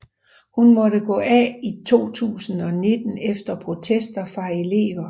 Hun måtte gå af i 2019 efter protester fra elever